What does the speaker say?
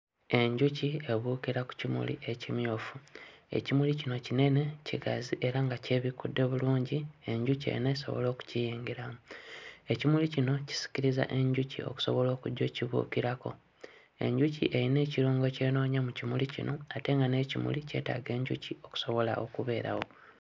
Enjuki ebuukira ku kimuli ekimyufu, ekimuli kino kinene, kigazi era nga kyebikkudde bulungi enjuki eno esobole okukiyingiramu. Ekimuli kino kisikiriza enjuki okusobola okujja okkibuukirako. Enjuki eyina ekirungo ky'enoonya mu kimuli kino ate nga n'ekimuli kyetaaga enjuki okusobola okubeerawo.